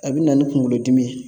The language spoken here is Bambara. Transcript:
A bɛ na ni kunkolodimi ye